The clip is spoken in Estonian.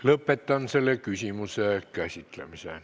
Lõpetan selle küsimuse käsitlemise.